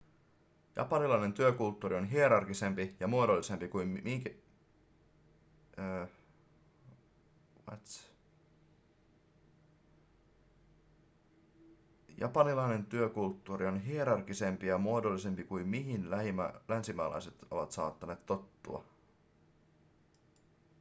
japanilainen työkulttuuri on hierarkisempi ja muodollisempi kuin mihin länsimaalaiset ovat saattaneet tottua